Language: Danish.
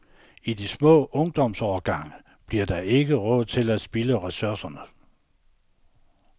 I de små ungdomsårgange bliver der ikke råd til at spilde ressourcerne.